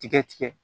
Tigɛ tigɛ